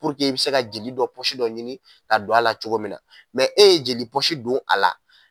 I bɛ se ka jeli dɔ pɔsi dɔ ɲini ka don a ala cogo min na, e ye jeli pɔsi don a la.